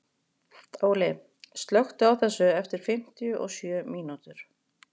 Óli, slökktu á þessu eftir fimmtíu og sjö mínútur.